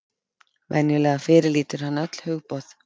Venjulega fyrirlítur hann öll hugboð.